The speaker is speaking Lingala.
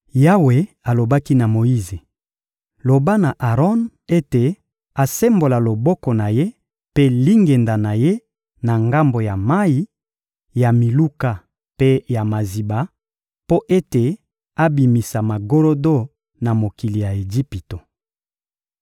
Yawe alobaki na Moyize: «Loba na Aron ete asembola loboko na ye mpe lingenda na ye na ngambo ya mayi, ya miluka mpe ya maziba, mpo ete abimisa magorodo na mokili ya Ejipito.»